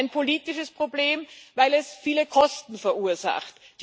Ein politisches Problem, weil es viele Kosten verursacht.